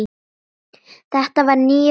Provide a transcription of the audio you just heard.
Þetta var nýr frakki.